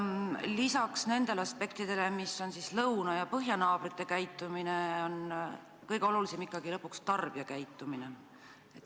Lisaks siin puudutatud aspektidele, milleks on lõuna- ja põhjanaabrite käitumine, on ju kõige olulisem ikkagi meie oma tarbijate käitumine.